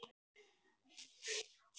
Hin hliðin dó.